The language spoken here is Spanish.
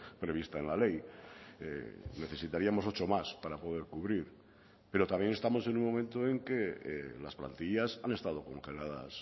prevista en la ley necesitaríamos ocho más para poder cubrir pero también estamos en un momento en que las plantillas han estado congeladas